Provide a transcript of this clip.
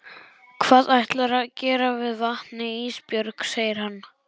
Hvað ætlarðu að gera við vatnið Ísbjörg, segir hann.